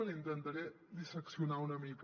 l’hi intentaré disseccionar una mica